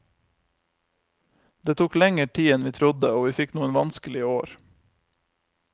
Det tok lenger tid enn vi trodde, og vi fikk noen vanskelige år.